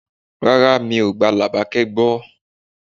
Rárá, mi ò gba Labake gbọ́.